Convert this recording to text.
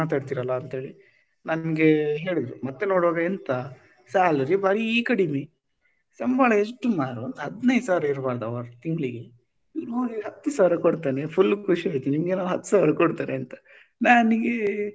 ಅಂತ ಹೇಳಿ ನನಗೆ ಹೇಳಿದ್ರು ಮತ್ತೆ ನೋಡುವಾಗ ಎಂತ salary ಬರಿ ಕಡಿಮೆ ಸಂಬಳ ಎಷ್ಟು ಮರ್ರೆ ಒಂದು ಹದಿನೈದು ಸಾವಿರ ಇರ್ಬಾರ್ದಾ ವ ತಿಂಗಳಿಗೆ ನೋಡಿದ್ರೆ ಹತ್ತು ಸಾವಿರ ಕೊಡ್ತಾನೇ full ಖುಷಿ ಆಯ್ತು ನಿಮಗೆ ನಾವು ಹತ್ತು ಸಾವಿರ ಕೊಡ್ತಾರೆ ಅಂತ ನಂಗೆ,